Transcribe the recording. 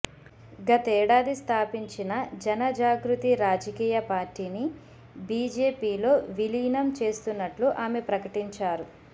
గతేడాది స్థాపించిన జనజాగృతి రాజకీయ పార్టీని బిజెపిలో విలీనం చేస్తున్నట్లు ఆమె ప్రకటించారు